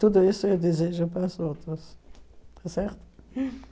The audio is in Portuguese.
Tudo isso eu desejo para as outras, tá certo?